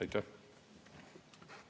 Aitäh!